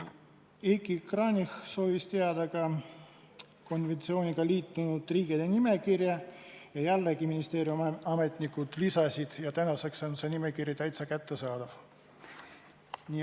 Heiki Kranich soovis teada konventsiooniga liitunud riikide nimekirja, ministeeriumi ametnikud selle saatsid ja tänaseks on see nimekiri meile täitsa kättesaadav.